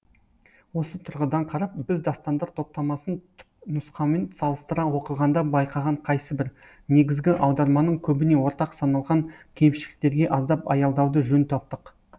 осы тұрғыдан қарап біз дастандар топтамасын түпнұсқамен салыстыра оқығанда байқаған қайсыбір негізгі аударманың көбіне ортақ саналған кемшіліктерге аздап аялдауды жөн таптық